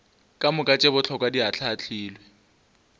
kamoka tše bohlokwa di ahlaahlilwe